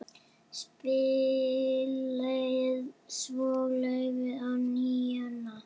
Spilaði svo laufi á NÍUNA.